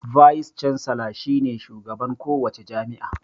"Vice Chancellor" shi ne shugaban ko wace jami'a.